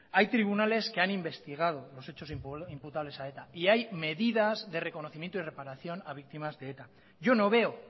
hay tribunales que han investigado los hechos imputables a eta y hay medidas de reconocimiento y reparación a víctimas de eta yo no veo